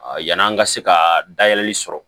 yann'an ka se ka dayɛlɛli sɔrɔ